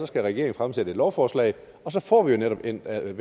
skal regeringen fremsætte et lovforslag og så får vi jo netop vendt alle